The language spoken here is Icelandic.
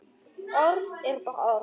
Orð eru bara orð.